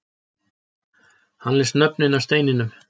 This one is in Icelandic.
Hann les nöfnin af steininum